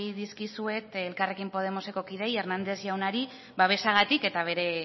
dizkizuet elkarrekin podemoseko kideei hernández jaunari babesagatik eta bere